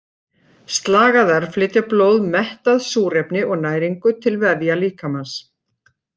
Slagæðar flytja blóð mettað súrefni og næringu til vefja líkamans.